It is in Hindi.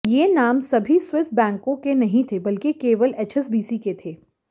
ये नाम सभी स्विस बैंकों के नहीं थे बल्कि केवल एचएसबीसी के थे